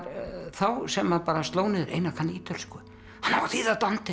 þá sem að sló niður Einar kann ítölsku hann á að þýða